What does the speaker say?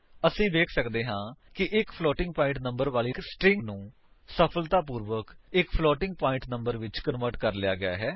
ਅਸੀ ਵੇਖ ਸੱਕਦੇ ਹਾਂ ਕਿ ਇੱਕ ਫਲੋਟਿੰਗ ਪਾਇੰਟ ਨੰਬਰ ਵਾਲੀ ਸਟਰਿੰਗ ਨੂੰ ਸਫਲਤਾਪੂਰਵਕ ਇੱਕ ਫਲੋਟਿੰਗ ਪਾਇੰਟ ਨੰਬਰ ਵਿੱਚ ਕਨਵਰਟ ਕਰ ਲਿਆ ਗਿਆ ਹੈ